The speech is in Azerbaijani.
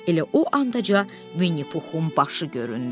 Elə o andaca Vinnipuxun başı göründü.